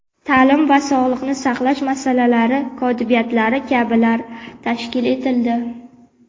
ta’lim va sog‘liqni saqlash masalalari kotibiyatlari kabilar tashkil etildi.